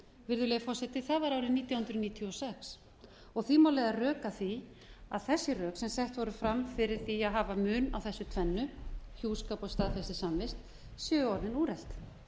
virðulegi forseti það var árið nítján hundruð níutíu og sex og því má leiða rök að því að þessi rök sem sett voru fram fyrir því að hafa mun á þessu tvennu hjúskap og staðfestri samvist séu orðin úrelt